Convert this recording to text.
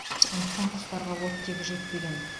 сондықтан құстарға оттегі жетпеген